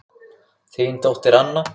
Þín dóttir Anna.